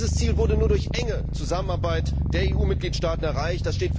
Dieses Ziel wurde nur durch enge Zusammenarbeit der EU Mitgliedstaaten erreicht.